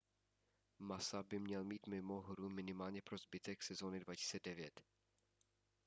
massa by měl být mimo hru minimálně po zbytek sezóny 2009